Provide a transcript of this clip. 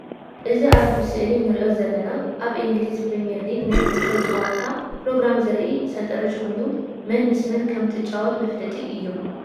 እዚ ኣብ ስእሊ ንርኦ ዘለና ኣብ እንግሊዝ ፕሪሚየርሊግ ናይ ኩዕሾ ጨዋታ ፕሮግራም ዘርኢ ሰንጠረጅ ኮይኑ መን ምስ መን ከምትጫወት መፍለጢ እዩ።